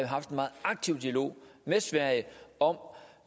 haft en meget aktiv dialog med sverige om